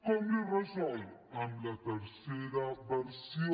com li ho resol amb la tercera versió